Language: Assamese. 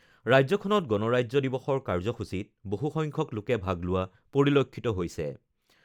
ৰাজ্যখনত গণৰাজ্য দিৱসৰ কাৰ্যসূচীত বহুসংখ্যক লোকে ভাগ লোৱা পৰিলক্ষিত হৈছে।